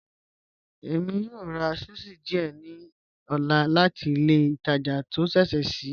Ẹ̀mi yó rà sushi díẹ̀ ní ọ̀là láti ilẹ̀ ìtàjà tí o ṣẹṣẹ́ ṣii